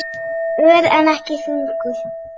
Ör, en ekki þungur.